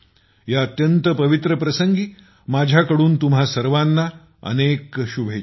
या अत्यंत पवित्र प्रसंगी माझ्याकडून तुम्हा सर्वांना खूप खूप शुभेच्छा